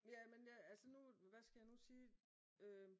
Jamen hvad skal jeg nu sige?